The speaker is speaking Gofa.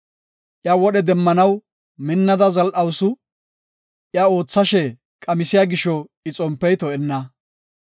Iya wodhe demmanaw minnada zal7awusu; iya oothashe qamisiya gisho I xompey to7enna.